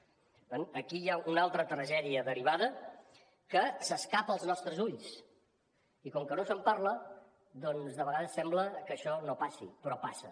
per tant aquí hi ha una altra tragèdia derivada que s’escapa als nostres ulls i com que no se’n parla doncs de vegades sembla que això no passi però passa